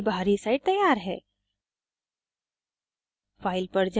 अब ब्रोशर की बाहरी side तैयार है